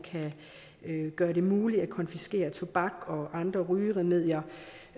kan gøre det muligt at konfiskere tobak og andre rygeremedier